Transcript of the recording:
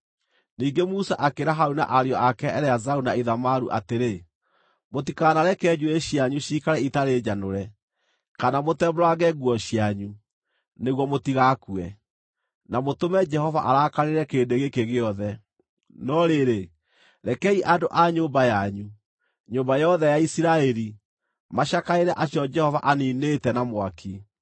Ningĩ Musa akĩĩra Harũni na ariũ ake Eleazaru na Ithamaru atĩrĩ, “Mũtikanareke njuĩrĩ cianyu ciikare itarĩ njanũre, kana mũtembũrange nguo cianyu, nĩguo mũtigakue, na mũtũme Jehova arakarĩre kĩrĩndĩ gĩkĩ gĩothe. No rĩrĩ, rekei andũ a nyũmba yanyu, nyũmba yothe ya Isiraeli, macakaĩre acio Jehova aniinĩte na mwaki.